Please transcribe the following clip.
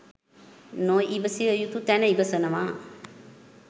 නො ඉවසිය යුතු තැන ඉවසනව.